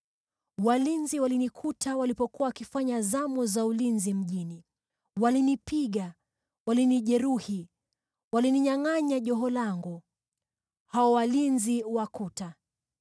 Walinzi walinikuta walipokuwa wakifanya zamu za ulinzi mjini. Walinipiga, wakanijeruhi, wakaninyangʼanya joho langu, hao walinzi wa kuta!